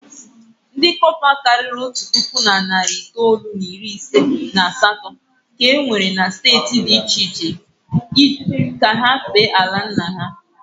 Ndị cọpa karịrị otu puku na narị itoolu na iri ise na asatọ ka e were na steeti dị iche iche ka ha fee ala nna ha.